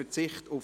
«Verzicht auf